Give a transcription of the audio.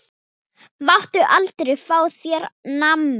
Máttu aldrei fá þér nammi?